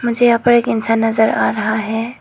मुझे यहां पर एक इंसान नजर आ रहा है।